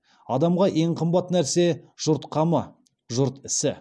адамға ең қымбат нәрсе жұрт қамы жұрт ісі